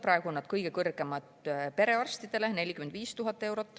Praegu on need kõige kõrgemad perearstidel, 45 000 eurot.